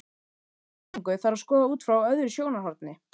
Þessa spurningu þarf að skoða út frá öðru sjónarhorni.